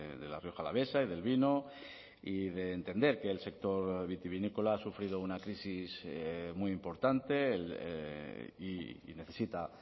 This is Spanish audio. de la rioja alavesa y del vino y de entender que el sector vitivinícola ha sufrido una crisis muy importante y necesita